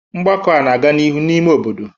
Ngbako a na-aga n'ihu n'ime obodo